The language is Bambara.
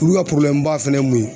Olu ka ba fana ye mun ye